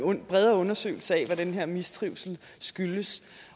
og en bredere undersøgelse af hvad den her mistrivsel skyldes